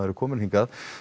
er kominn hingað